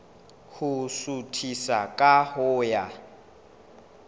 ho suthisa ka ho ya